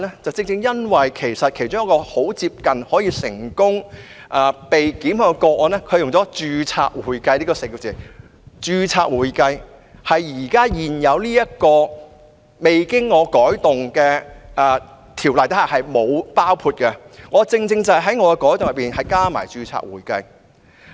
在一宗幾乎可以成功檢控的個案中，所使用的是"註冊會計"，而"註冊會計"一詞在現行法例下並未被包括在內，所以我才會在我提出的修訂中加入"註冊會計"。